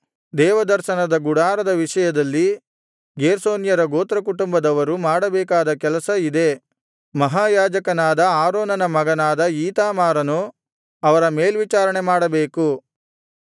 ದೇವದರ್ಶನದ ಗುಡಾರದ ವಿಷಯದಲ್ಲಿ ಗೇರ್ಷೋನ್ಯರ ಗೋತ್ರಕುಟುಂಬದವರು ಮಾಡಬೇಕಾದ ಕೆಲಸ ಇದೇ ಮಹಾಯಾಜಕನಾದ ಆರೋನನ ಮಗನಾದ ಈತಾಮಾರನು ಅವರ ಮೇಲ್ವಿಚಾರಣೆ ಮಾಡಬೇಕು